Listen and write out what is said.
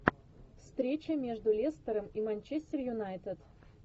встреча между лестером и манчестер юнайтед